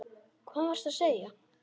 Hvað varstu að segja?